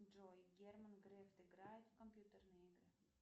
джой герман греф играет в компьютерные игры